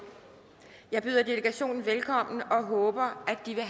jeg byder delegationen velkommen og håber at de vil